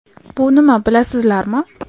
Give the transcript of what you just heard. Bu nima bilasizlarmi?